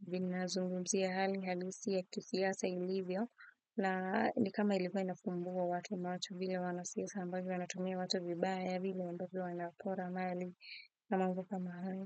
vinazungumzia hali halisi ya kisiasa ilivyo, na kama ilikuwa inafumbua watu macho vile wanasiasa ambavyo wanatumia watu vibaya vile ambavyo wanapora mali na mambo kama hayo.